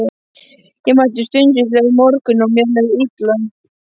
Ég mætti stundvíslega um morguninn og mér leið illa.